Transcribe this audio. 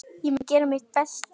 Ég mun gera mitt besta.